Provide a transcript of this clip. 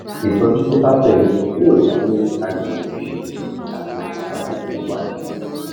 ìtọjú tó bá tẹ lé e yóò dá lórí àyẹwò ìṣègùn àti àbájáde ìwádìí